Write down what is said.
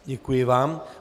Děkuji vám.